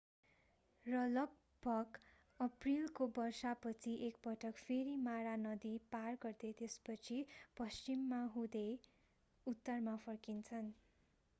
र लगभग अप्रिलको वर्षा पछि एकपटक फेरि मारा नदी पार गर्दै त्यसपछि पश्चिम हुँदै उत्तरमा फर्किन्छन्